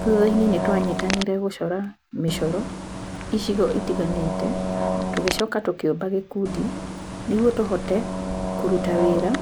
Thutha-inĩ nĩ twanyitanĩrie gũcora mĩcoro icigo itiganĩte tũgĩcoka tũkiũmba gĩkundi nĩguo tũhotete kũruta wĩra